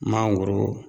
Mangoro